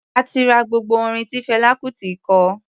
A ti ra gbogbo orin tí Fẹlá Kutì kọ.